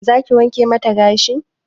Za ki wanke mata gashi?